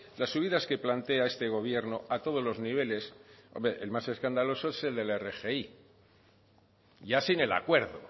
las subidas que plantea este gobierno a todos los niveles hombre el más escandaloso es el de la rgi ya sin el acuerdo